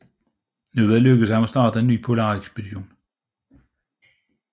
Nu var det lykkedes ham at starte en ny polarekspedition